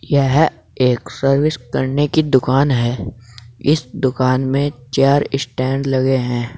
यह एक सर्विस करने की दुकान है इस दुकान में चार स्टैंड लगे हैं।